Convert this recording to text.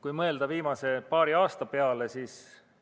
Kui mõelda viimase paari aasta peale, siis